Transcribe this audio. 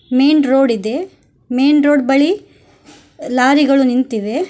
Main road ಇದೆ main road ಬಳಿ ಲಾರಿಗಳು ನಿಂತಿದೆ.